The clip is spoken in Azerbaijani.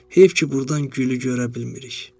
Heyif ki, burdan gülü görə bilmirik.